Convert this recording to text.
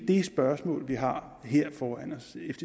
det spørgsmål vi har her foran